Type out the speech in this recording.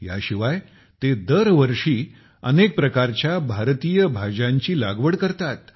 याशिवाय ते दर वर्षी अनेक प्रकारच्या भारतीय भाज्याची लागवड करतात